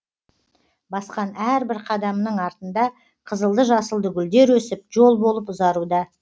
басқан әрбір қадамының артында қызылды жасылды гүлдер өсіп жол болып ұзаруда